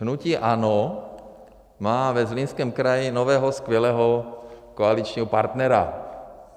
Hnutí ANO má ve Zlínském kraji nového skvělého koaličního partnera.